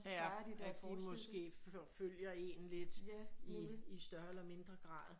Ja at de måske forfølger én lidt